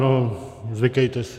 No, zvykejte si.